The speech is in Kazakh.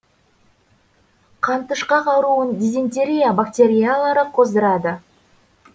қантышқақ ауруын дизентерия бактериялары қоздырады